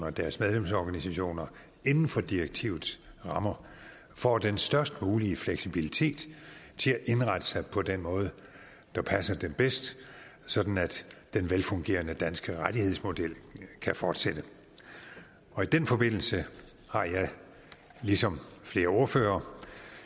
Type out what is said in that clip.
og deres medlemsorganisationer inden for direktivets rammer får den størst mulige fleksibilitet til at indrette sig på den måde der passer dem bedst sådan at den velfungerende danske rettighedsmodel kan fortsætte i den forbindelse har jeg det ligesom flere ordførere